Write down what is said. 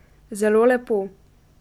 Zelo lepo.